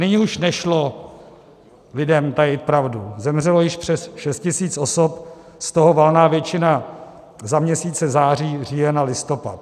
Nyní už nešlo lidem tajit pravdu, zemřelo již přes 6 tisíc osob, z toho valná většina za měsíce září, říjen a listopad.